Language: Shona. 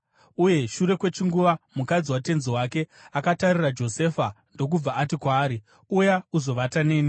uye shure kwechinguva mukadzi watenzi wake akatarira Josefa ndokubva ati kwaari, “Uya uzovata neni!”